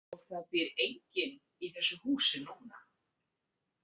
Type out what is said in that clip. Og það býr enginn í þessu húsi núna.